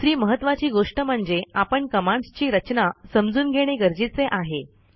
दुसरी महत्त्वाची गोष्ट म्हणजे आपण कमांडस् ची रचना समजून घेणे गरजेचे आहे